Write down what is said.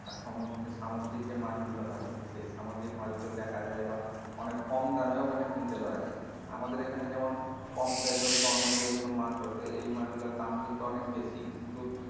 আর সমুদ্রে, সামুদ্রিক যে মাছ গুলো হয় সেই সামুদ্রিক মাছ গুলো দেখা যায় বা অনেক কম দামেও ওখানে কিনতে পাওয়া যায় আমাদের এখানে যেমন পমফ্রে হোক বা অন্য যেকোনো মাছ হোক এই মাছ গুলোর দাম কিন্তু অনেক বেশি কিন্তু,